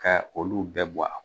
Ka olu bɛɛ bɔ a